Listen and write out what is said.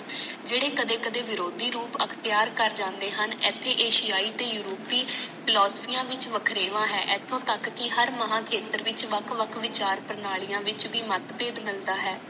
ਜੜੇ ਕਦੇ ਕਦੇ ਵਿਰੋੜੀ ਰੋਪ ਅਪਤੀਯਰ ਕਰ ਜਾਂਦੇ ਹਨ ਏਥੇ ਐ ਸਿਆਇਆ ਤੇ ਯੂਰੋਪੀ ਫਲੋਸਪੀ ਵਿਚ ਵਖਰੇਵਾਂ ਹੈ ਇਥੋਂ ਤੱਕ ਕੀ ਹਰ ਮਾਹਾ ਖੇਹਤਰ ਵਿਚ ਵੱਖ ਵੱਖ ਵਿਚਾਰ ਪ੍ਰਣਾਲੀ ਵਿਚ ਮਾਤ ਪੇਦ ਮਿਲਦਾ ਹੈ